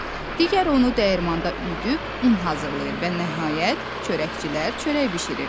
Digəri onu dəyirmanda üyüdüb un hazırlayır və nəhayət çörəkçilər çörək bişirir.